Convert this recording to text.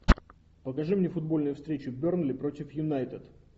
покажи мне футбольную встречу бернли против юнайтед